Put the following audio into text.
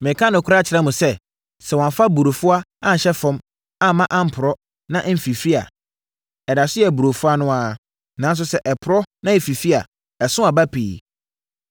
Mereka nokorɛ akyerɛ mo sɛ, sɛ wɔamfa burofua anhyɛ fam amma amporɔ na amfifiri a, ɛda so yɛ burofua no ara, nanso sɛ ɛporɔ na ɛfifiri a, ɛso aba pii.